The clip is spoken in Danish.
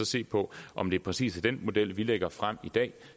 se på om det præcis er den model vi lægger frem i dag